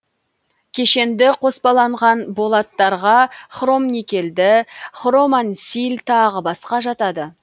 кешенді қоспаланған болаттарға хромникельді хромансиль тағы басқа жатады